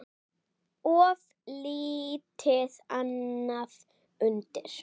Of lítið annað undir.